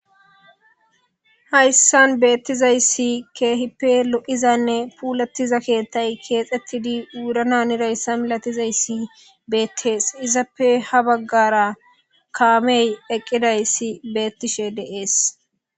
Hayssan bettizayssi keehippe lo'izanne puullettiza keththay keththettidi wurana haniza misattozay beettes izappe ha baggara kaamey eqidi bettizayssi de'es